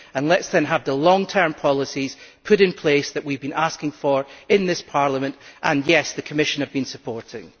And let us then have the long term policies put in place that we have been asking for in this Parliament and yes, the Commission have been supportive.